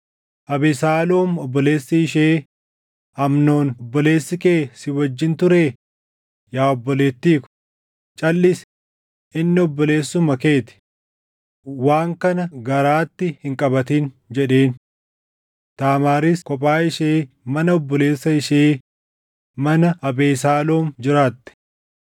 Abesaaloom obboleessi ishee, “Amnoon obboleessi kee si wajjin turee? Yaa obboleettii ko, calʼisi; inni obboleessuma kee ti. Waan kana garaatti hin qabatin” jedheen. Taamaaris kophaa ishee mana obboleessa ishee mana Abesaaloom jiraatte.